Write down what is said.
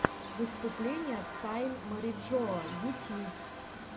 выступление тайн мариджоа ютьюб